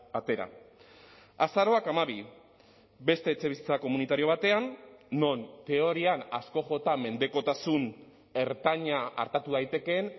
atera azaroak hamabi beste etxebizitza komunitario batean non teorian asko jota mendekotasun ertaina artatu daitekeen